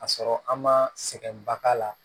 Ka sɔrɔ an ma sɛgɛnba k'a la